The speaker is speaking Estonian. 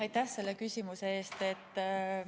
Aitäh selle küsimuse eest!